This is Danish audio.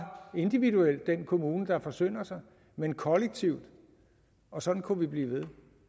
individuelt den kommune der forsynder sig men kollektivt og sådan kunne vi blive ved